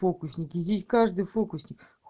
фокусники здесь каждый фокусник